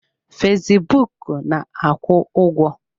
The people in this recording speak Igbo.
Fesbụụk na-akwụ ụgwọ.